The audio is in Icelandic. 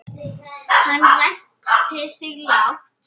Hann ræskti sig lágt.